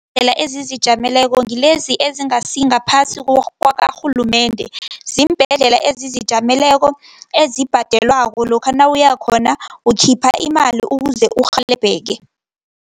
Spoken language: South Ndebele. Iimbhedlela ezizijameleko ngilezi ezingasingaphasi kwakarhulumende, ziimbhedlela ezizijameleko, ezibhadelwako, lokha nawuyakhona ukhipha imali ukuze urhelebheke.